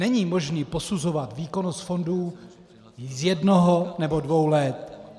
Není možné posuzovat výkonnost fondů z jednoho nebo dvou let.